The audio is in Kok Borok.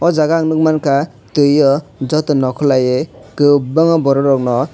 o jaga ang nuk mang kha tuio joto nokhorlai kwbangma borok rokno.